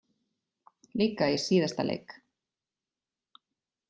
Líka í síðasta leik.